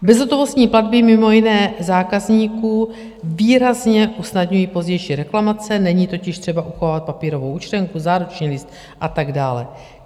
Bezhotovostní platby mimo jiné zákazníkům výrazně usnadňují pozdější reklamace, není totiž třeba uchovávat papírovou účtenku, záruční list a tak dále.